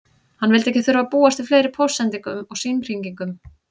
Hann vildi ekki þurfa að búast við fleiri póstsendingum og símhringingum.